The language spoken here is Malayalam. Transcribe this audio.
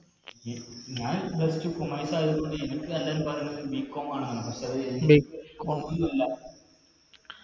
എ ഞാൻ plus two commerce ആയത് കൊണ്ട് എനിക്ക് എല്ലാരും പറയുന്ന പോലെ bcom ആണെന്നാണ് പക്ഷെ